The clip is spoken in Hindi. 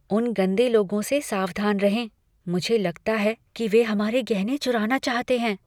उन गंदे लोगों से सावधान रहें। मुझे लगता है कि वे हमारे गहने चुराना चाहते हैं।